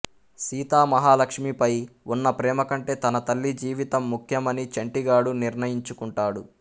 సీతామహాలక్ష్మిపై ఉన్న ప్రేమకంటే తన తల్లి జీవితం ముఖ్యమని చంటిగాడు నిర్ణయించుకుంటాడు